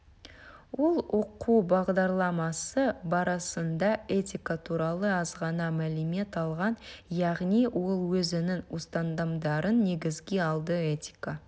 ол оқу бағдарламасы барысында этика туралы азғана мәлімет алған яғни ол өзінің ұстанымдарын негізге алды этика